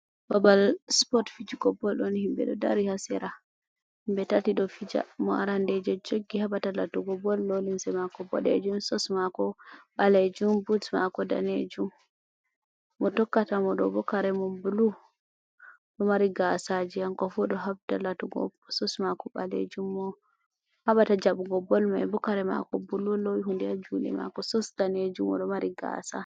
Babal spot fijigo bol ɗon himɓe ɗo dari ha sera. Himɓe tati ɗo fija mo rande ɗo joggi haɓata latugo bol lolinse mako boɗejum sos mako ɓalejum buts mako danejum. Mo tokkata mo ɗo bo kare mo bulu ɗo mari gasaji hanko fu ɗo habda latugo sos ɓalejum mo haɓata jaɓugo bol mai bo kare mako bulu o lowi hunde ha juɗe mako sos danejum ɗo mari gasa.